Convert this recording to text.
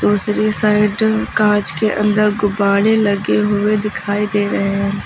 दूसरी साइड कांच के अंदर गुब्बारे लगे हुए दिखाई दे रहे हैं।